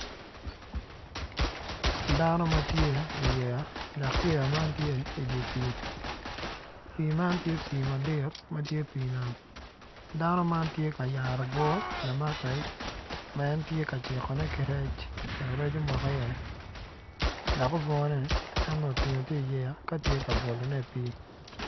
Dano matye i iyeya dok yeya man tye idye pii, pii man tye pii madit matye dye nam dano man tye ka yaro obwor lamak rec ma en tye ka cikone ki rec wek rec omok i iye dok obwor en nongo otinog tye i iyeya ka tye ka bolone i pii